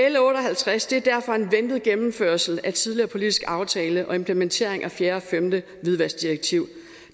l otte og halvtreds er derfor en ventet gennemførelse af en tidligere politisk aftale og en implementering af fjerde og femte hvidvaskdirektiv